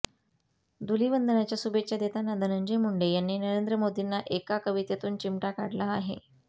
धूलिवंदनाच्या शुभेच्छा देताना धनंजय मुंडे यांनी नरेंद्र मोदींना एका कवितेतून चिमटा काढला आहे